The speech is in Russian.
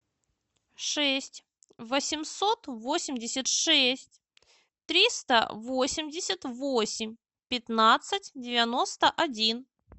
шесть восемьсот восемьдесят шесть триста восемьдесят восемь пятнадцать девяносто один